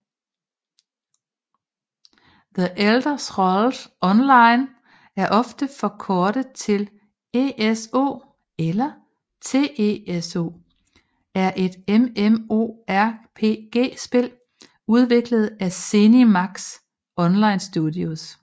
The Elder Scrolls Online ofte forkortet til ESO eller TESO er et MMORPG spil udviklet af ZeniMax Online Studios